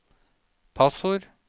passord